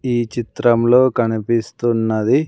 ఈ చిత్రంలో కనిపిస్తున్నది.